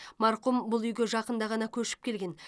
марқұм бұл үйге жақында ғана көшіп келген